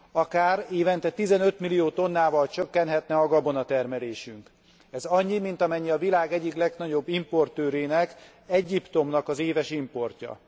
Akár évente 15 millió tonnával csökkenhetne a gabonatermelésünk. Ez annyi, mint amennyi a világ egyik legnagyobb importőrének, Egyiptomnak az éves importja.